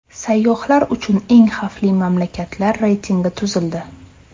Sayyohlar uchun eng xavfli mamlakatlar reytingi tuzildi.